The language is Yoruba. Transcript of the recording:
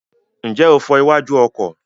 Ǹjẹ́ o fọ iwájú ọkọ̀?